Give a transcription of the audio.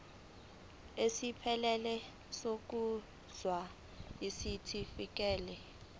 esiphelele sokuzalwa isitifikedi